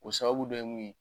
O sababu dɔ ye mun ye